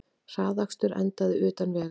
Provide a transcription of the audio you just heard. Hraðakstur endaði utan vegar